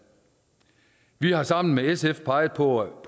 vi har sammen med sf peget på